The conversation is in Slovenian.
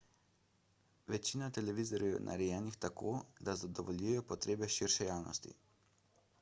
večina televizorjev je narejenih tako da zadovoljijo potrebe širše javnosti